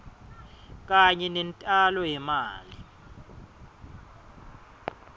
kanye nentalo yemali